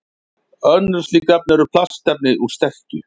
Önnur slík efni eru plastefni úr sterkju.